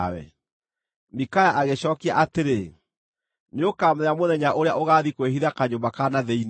Mikaya agĩcookia atĩrĩ, “Nĩũkamenya mũthenya ũrĩa ũgaathiĩ kwĩhitha kanyũmba ka na thĩinĩ.”